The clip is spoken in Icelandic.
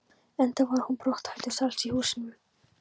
Enda var hún brothættust alls í húsinu.